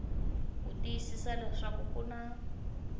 ku tiyisisa leswaku ku na